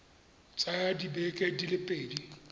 tsaya dibeke di le pedi